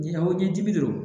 Ɲina ko ɲɛdi de do